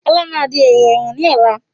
Ọlá máa di èrò ẹ̀wọ̀n ni ọ̀la